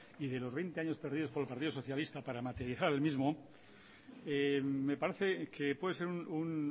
y de los veinte años perdidos por el partido socialista para materializar el mismo me parece que puede ser un